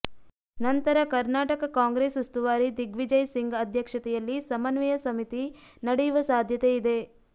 ನಂತರ ಕರ್ನಾಟಕ ಕಾಂಗ್ರೆಸ್ ಉಸ್ತುವಾರಿ ದಿಗ್ವಿಜಯ್ ಸಿಂಗ್ ಅಧ್ಯಕ್ಷತೆಯಲ್ಲಿ ಸಮನ್ವಯ ಸಮಿತಿ ನಡೆಯುವ ಸಾಧ್ಯತೆ ಇದೆ